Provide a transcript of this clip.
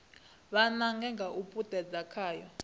vha nange nga u puṱedza khayo